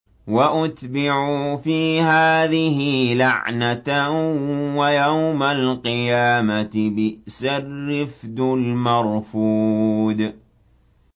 وَأُتْبِعُوا فِي هَٰذِهِ لَعْنَةً وَيَوْمَ الْقِيَامَةِ ۚ بِئْسَ الرِّفْدُ الْمَرْفُودُ